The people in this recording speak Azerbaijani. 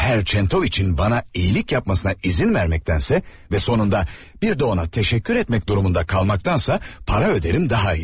Bir Herr Çentoviçin mənə yaxşılıq etməsinə icazə verməkdənsə və sonunda bir də ona təşəkkür etmək məcburiyyətində qalmaqdansa, pul ödəyərəm, daha yaxşı.